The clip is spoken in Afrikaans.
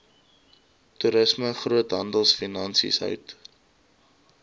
toerisme groothandelfinansies hout